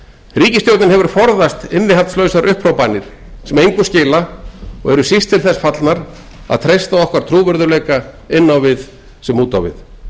ríkisstjórnin hefur forðast innihaldslausar upphrópanir sem engu skila og eru síst til þess fallnar að treysta okkar trúverðugleika inn á við sem út á við